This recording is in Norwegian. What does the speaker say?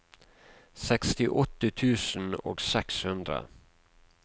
sekstiåtte tusen og seks hundre